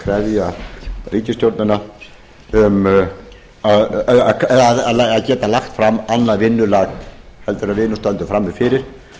til þess að krefja ríkisstjórnina að geta lagt fram annað vinnulag en við nú stöndum frammi fyrir